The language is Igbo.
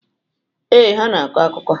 Ee, ha na-akọ akụkọ.